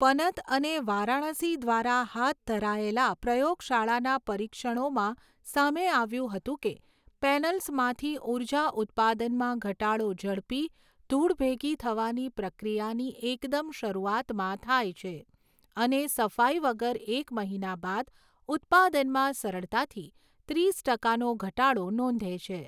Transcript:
પનત અને વારાણસી દ્વારા હાથ ધરાયેલા પ્રયોગશાળાના પરીક્ષણોમાં સામે આવ્યું હતું કે પૅનલ્સમાંથી ઉર્જા ઉત્પાદનમાં ઘટાડો ઝડપી, ધૂળ ભેગી થવાની પ્રક્રિયાની એકદમ શરૂઆતમાં થાય છે અને સફાઈ વગર એક મહિના બાદ ઉત્પાદનમાં સરળતાથી ત્રીસ ટકાનો ઘટાડો નોંધે છે.